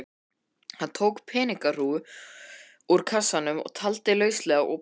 Hann tók peningahrúgu úr kassanum, taldi lauslega og brosti.